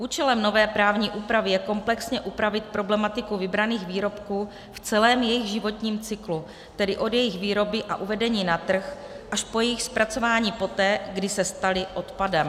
Účelem nové právní úpravy je komplexně upravit problematiku vybraných výrobků v celém jejich životním cyklu, tedy od jejich výroby a uvedení na trh až po jejich zpracování poté, kdy se staly odpadem.